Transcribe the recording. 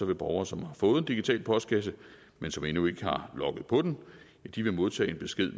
vil borgere som har fået en digital postkasse men som endnu ikke har logget på den modtage en besked